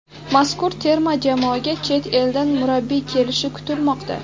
Mazkur terma jamoaga chet eldan murabbiy kelishi kutilmoqda .